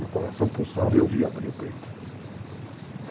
Meu coração pulsava e eu vi abrir o peito.